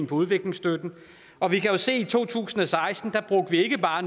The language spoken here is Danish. på udviklingstøtte og vi kan jo se i to tusind og seksten ikke bare